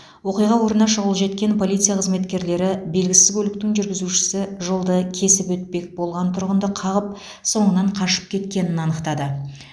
оқиға орнына шұғыл жеткен полиция қызметкерлері белгісіз көліктің жүргізушісі жолды кесіп өтпек болған тұрғынды қағып соңынан қашып кеткенін анықтады